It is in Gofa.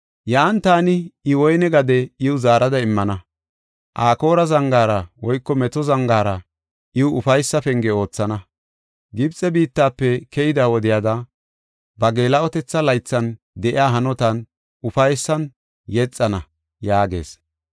Yan taani I woyne gade iw zaarada immana; Akoora zangaara (meto zangaara) iw ufaysa penge oothana. Gibxe biittafe keyida wodiyada ba geela7otetha laythan de7iya hanotan ufaysan yexana” yaagees.